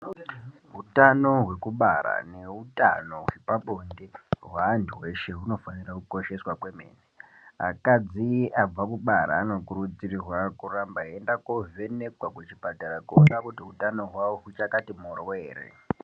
Utano hwekubara neutano hwepabonde hweanthu eshe hunofanira kukosheswa kwemene. Akadzi abva kubara ano kukurudzirwa kuramba eienda kovhenekwa kuchipatara kuona kuti utano hwavo huchakati mhoryo ere.